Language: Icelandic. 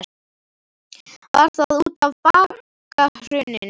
Var það útaf bankahruninu?